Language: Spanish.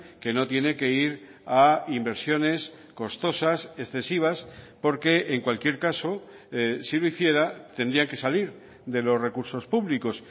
que no tiene que ir a inversiones costosas excesivas porque en cualquier caso si lo hiciera tendría que salir de los recursos públicos